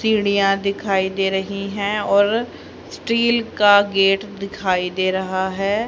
सीढ़ियां दिखाईं दे रहीं हैं और स्टील का गेट दिखाई दे रहा है।